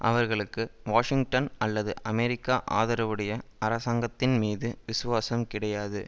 அவர்களுக்கு வாஷிங்டன் அல்லது அமெரிக்க ஆதரவுடைய அரசாங்கத்தின் மீது விசுவாசம் கிடையாது